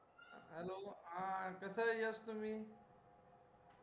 hello अं कसंय यश तुम्ही